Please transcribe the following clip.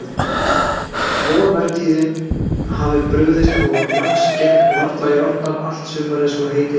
Vorvertíðin hafði brugðist og lax gekk varla í árnar allt sumarið svo heitið gæti.